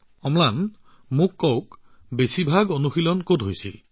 অম্লান কওকচোন আপুনি বেছিকৈ কত অনুশীলন কৰিছিল